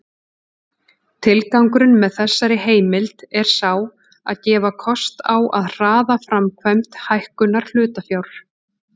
Tilgangurinn með þessari heimild er sá að gefa kost á að hraða framkvæmd hækkunar hlutafjár.